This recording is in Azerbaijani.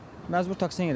Məcbur taksi ilə gedəcəm.